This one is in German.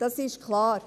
Das ist klar.